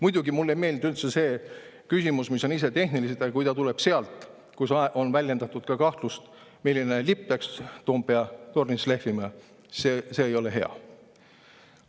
Muidugi, mulle ei meeldi üldse see küsimus, mis on tehniline, aga kui ta tuleb sealt, kus on väljendatud ka kahtlust, milline lipp peaks Toompea tornis lehvima, siis see ei ole hea.